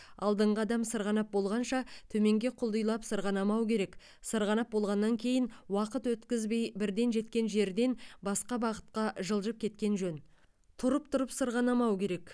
алдыңғы адам сырғанап болғанша төменге құлдилап сырғанамау керек сырғанап болғаннан кейін уақыт өткізбей бірден жеткен жерден басқа бағытқа жылдып кеткен жөн тұрып тұрып сырғанамау керек